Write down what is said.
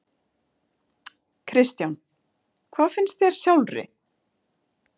Kristján: Hvað finnst þér sjálfri?